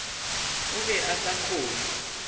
o be a sa kgone